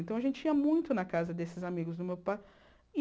Então, a gente ia muito na casa desses amigos do meu pai.